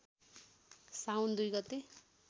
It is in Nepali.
साउन २ गते